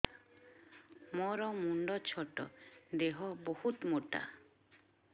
ମୋର ମୁଣ୍ଡ ଛୋଟ ଦେହ ବହୁତ ମୋଟା